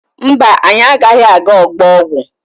Mba, anyị agaghị aga ọgbọ ọgwụ.